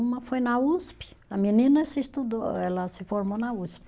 Uma foi na Usp, a menina se estudou, ela se formou na Usp.